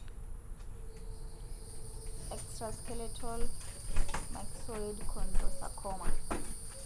Extraskeletal myxoid chondrosarcoma.